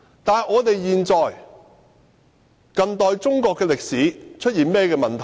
那麼究竟近代中國歷史出現了甚麼問題？